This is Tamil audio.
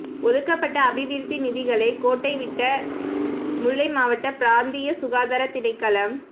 ஒதுக்கப்பட்ட அபிவிருத்தி நிதிகளை கோட்டைவிட்ட முல்லை மாவட்ட பிராந்திய சுகாதார திணைக்களம்